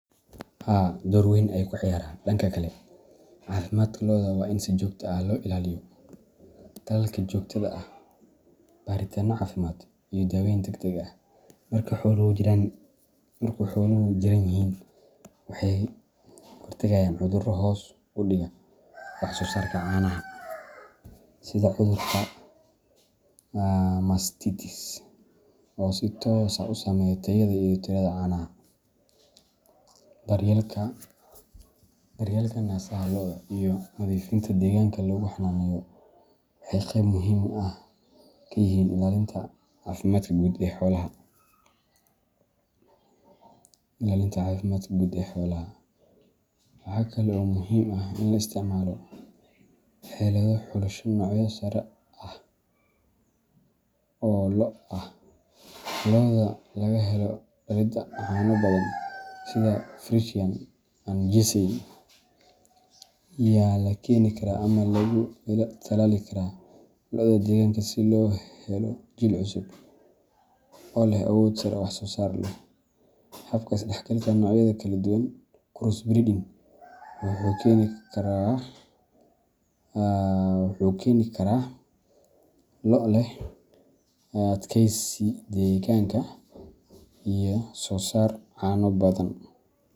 Haa dhoor weyn ayey ka ciyaran. Dhanka kale, caafimaadka lo’da waa in si joogto ah loo ilaaliyo. Talaalka joogtada ah, baaritaanno caafimaad, iyo daaweyn degdeg ah marka xooluhu jiran yihiin waxay ka hortagayaan cudurro hoos u dhiga wax-soo-saarka caanaha, sida cudurka mastitis oo si toos ah u saameeya tayada iyo tirada caanaha. Daryeelka naasaha lo’da iyo nadiifinta deegaanka lagu xanaaneeyo waxay qeyb muhiim ah ka yihiin ilaalinta caafimaadka guud ee xoolaha. Waxaa kale oo muhiim ah in la isticmaalo xeelado xulasho noocyo sare ah oo lo' ah. Lo’da laga helo dhalidda caano badan sida Friesian and Jersey ayaa la keeni karaa ama lagu tallaali karaa lo’da deegaanka si loo helo jiil cusub oo leh awood sare oo wax-soo-saar leh. Habka is-dhexgalka noocyada kala duwan crossbreeding wuxuu keeni karaa lo’ leh adkaysi deegaanka iyo soo saar caano badan.